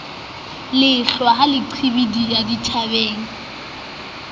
lehlwa ha le qhibidiha dithabeng